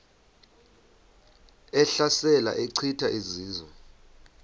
ehlasela echitha izizwe